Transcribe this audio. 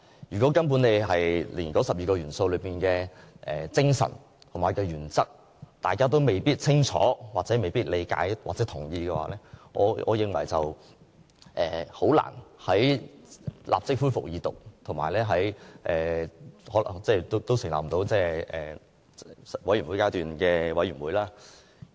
如果連那12個元素背後的精神和原則也未清楚、理解或認同，我認為《條例草案》很難立即恢復二讀辯論，亦欠缺穩固的基礎去成立法案委員會。